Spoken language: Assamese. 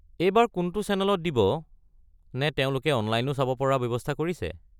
এইবাৰ কোনটো চেনেলত দিব নে তেওঁলোকে অনলাইনো চাব পৰা ব্যৱস্থা কৰিছে?